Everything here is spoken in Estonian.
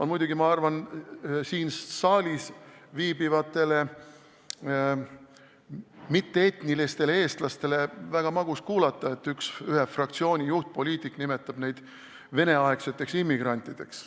Tegelikult ma arvan, et siin saalis viibivatel mitte-etnilistel eestlastel pole väga magus kuulata, et ühe fraktsiooni juhtpoliitik nimetab neid Vene-aegseteks immigrantideks.